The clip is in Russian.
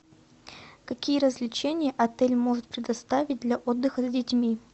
какие развлечения отель может предоставить для отдыха с детьми